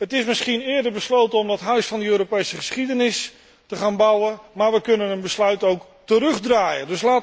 Het is misschien eerder besloten om dat Huis van de Europese geschiedenis te gaan bouwen, maar wij kunnen een besluit ook terugdraaien.